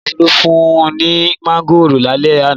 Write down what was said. Ìyá Folú fún un ní mángòrò lálẹ́ àná.